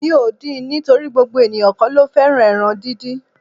Mi ò din nítorí gbogbo eniyan kó lo fẹ́ ẹran díndín.